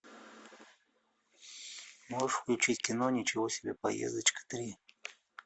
можешь включить кино ничего себе поездочка три